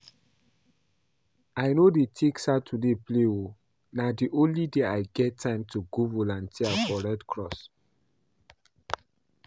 I no dey take Saturdays play oo, na the only day I get time to go volunteer for redcross